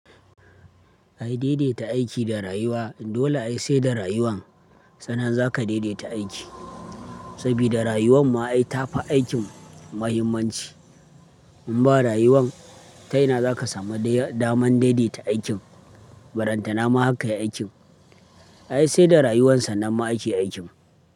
Ai daidaita aiki da rayuwa, dole ai sai da rayuwan sannan zaka daidaita aiki. Saboda rayuwan ma ai tafi aikin muhimmanci. In ba rayuwan, ta ina za ka samu dama na daidaita aikin? Baranta nama haka aikin. Ai sai da rayuwarsa nan ma ake aikin.